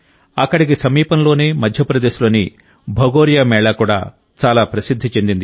అక్కడికి సమీపంలోనే మధ్యప్రదేశ్లోని భగోరియా మేళా కూడా చాలా ప్రసిద్ధి చెందింది